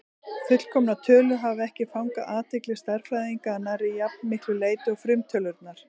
Fullkomnar tölur hafa ekki fangað athygli stærðfræðinga að nærri jafn miklu leyti og frumtölurnar.